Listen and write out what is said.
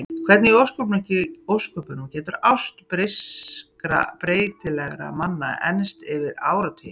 Hvernig í ósköpunum getur ást breyskra og breytilegra manna enst yfir áratugina?